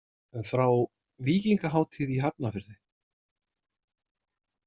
Frá „Víkingahátíð“ í Hafnarfirði.